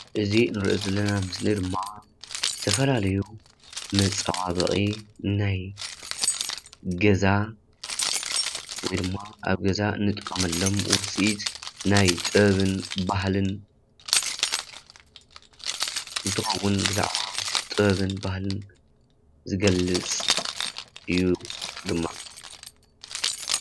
እዚ እንሪኦ ዘለና ምሰሊ ድማ ዝተፈላለዩ መፀባበቂ ናይ ገዛ ወይ ድማ አብ ገዛ እንጥቀመሎም ውፅኢት ናይ ጥበብን ባህሊን እንትኸውን፤ ብዛዕባ ጥበብን ባህሊን ዝገልፅ እዩ ድማ።